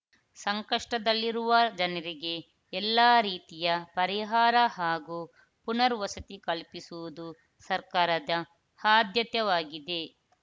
ಸಂಕಷ್ಟದಲ್ಲಿರುವ ಜನರಿಗೆ ಎಲ್ಲಾ ರೀತಿಯ ಪರಿಹಾರ ಹಾಗೂ ಪುನರ್ವಸತಿ ಕಲ್ಪಿಸುವುದು ಸರ್ಕಾರದ ಆದ್ಯತವಾಗಿದೆ